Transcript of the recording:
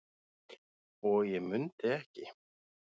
og ég mundi ekki.